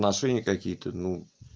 отношения какие-то ну